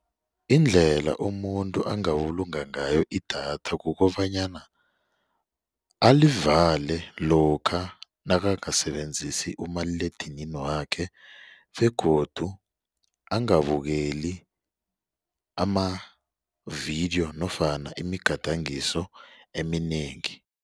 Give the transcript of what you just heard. Indlela umuntu angabulunga ngayo idatha kukobanyana alivale lokha nakangasebenzisi umaliledinini wakhe begodu angabukeli amavidiyo nofana imigadangiso eminengi.